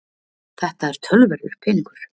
Þetta er töluverður peningur